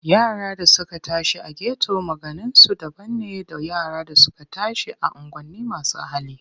Yaran da suka tashi a geto maganinsu daban ne da yara da suka tashi a unguwanin masu hali.